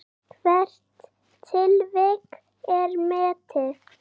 Hvert tilvik er metið.